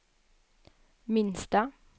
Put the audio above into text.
minsta